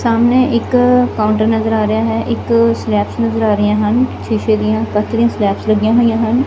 ਸਾਹਮਨੇ ਇੱਕ ਕਾਉੰਟਰ ਨਜ਼ਰ ਆ ਰਿਹਾ ਹੈ ਇੱਕ ਸਲੈਬਸ ਨਜ਼ਰ ਆ ਰਹੀਆਂ ਹਨ ਸ਼ੀਸ਼ੇ ਦਿਆਂ ਵੱਖਰੀਆਂ ਸਲੈਬਸ ਲੱਗੀਆਂ ਹੋਈਆਂ ਹਨ।